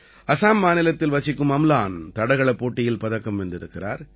அசாம் மாநிலத்தில் வசிக்கும் அம்லான் தடகளப் போட்டியில் பதக்கம் வென்றிருக்கிறார்